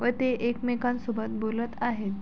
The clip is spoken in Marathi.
व ते एकमेकांसोबत बोलत आहेत.